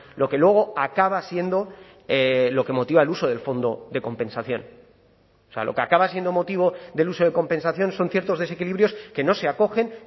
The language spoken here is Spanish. lo que luego acaba siendo lo que motiva el uso del fondo de compensación o sea lo que acaba siendo motivo del uso de compensación son ciertos desequilibrios que no se acogen